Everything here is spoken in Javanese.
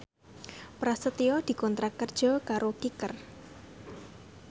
Prasetyo dikontrak kerja karo Kicker